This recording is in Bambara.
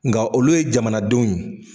Nka olu ye jamanadenw ye.